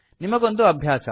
ನಿಮಗೊಂದು ಅಭ್ಯಾಸ